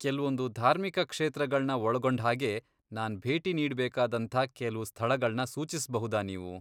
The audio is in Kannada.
ಕೆಲ್ವೊಂದು ಧಾರ್ಮಿಕ ಕ್ಷೇತ್ರಗಳ್ನ ಒಳಗೊಂಡ್ಹಾಗೆ ನಾನ್ ಭೇಟಿ ನೀಡ್ಬೇಕಾದಂಥ ಕೆಲ್ವು ಸ್ಥಳಗಳ್ನ ಸೂಚಿಸ್ಬಹುದಾ ನೀವು?